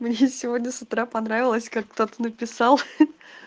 мне сегодня с утра понравилось как кто-то написал ха-ха